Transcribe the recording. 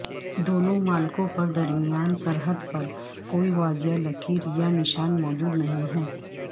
دونوں مالکوں کے درمیان سرحد پر کوئی واضح لکیر یا نشان موجود نہیں ہے